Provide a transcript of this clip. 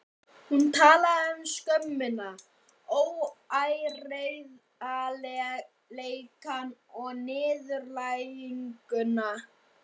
Hún talaði um skömmina, óheiðarleikann og niðurlæginguna.